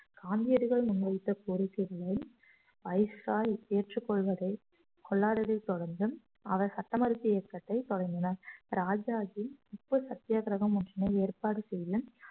காந்தியடிகள் முன் வைத்த கோரிக்கைகளை ஏற்றுக் கொள்வதை~ கொள்ளாததைத் தொடர்ந்து அவர் சட்டமறுப்பு இயக்கத்தைத் தொடங்கினார் ராஜாஜி உப்பு சத்தியாகிரகம் ஒன்றினை ஏற்பாடு செய்து